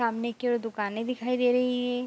सामने की ओर दुकानें दिखाई दे रही हैं।